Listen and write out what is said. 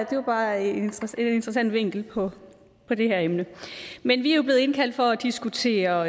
bare en interessant vinkel på det her emne men vi er jo blevet indkaldt for at diskutere